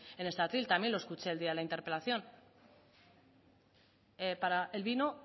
en este atril también lo escuché el día de la interpelación para el vino